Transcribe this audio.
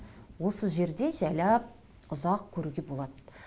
осы жерде жайлап ұзақ көруге болады